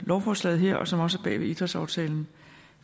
lovforslaget her og som også står bag idrætsaftalen